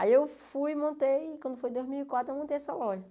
Aí eu fui e montei, quando foi dois mil e quatro, eu montei essa loja.